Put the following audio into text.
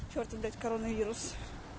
чёртов блять коронавирус